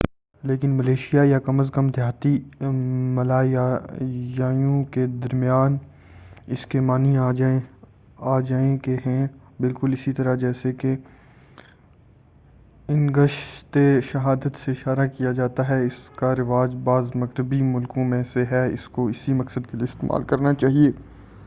لیکن ملیشیا یا کم از کم دیہاتی ملایائیوں کے درمیان اس کے معنی آ جائیے کے ہیں بالکل اسی طرح جیسے کہ انگشتِ شہادت سے اشارہ کیا جاتا ہے اس کا رواج بعض مغربی ملکوں میں ہے اور اس کو اسی مقصد کے لئے استعمال کرنا چاہئے